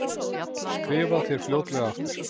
Skrifa þér fljótlega aftur.